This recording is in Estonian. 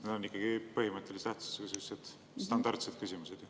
Need on ikkagi põhimõttelise tähtsusega standardsed küsimused.